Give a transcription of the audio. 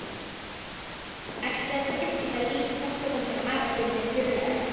Ætlarðu virkilega að líkjast honum afa þínum í föðurætt?